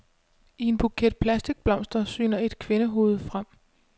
I en buket plastikblomster syner et kvindehoved frem.